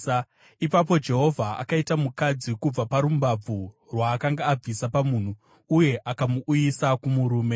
Ipapo Jehovha Mwari akaita mukadzi kubva parumbabvu rwaakanga abvisa pamunhu, uye akamuuyisa kumurume.